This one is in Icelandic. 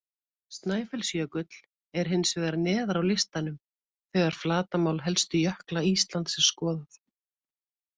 Snæfellsjökull er hins vegar neðar á listanum þegar flatarmál helstu jökla Íslands er skoðað.